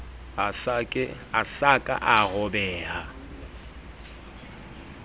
a sa ka a robeha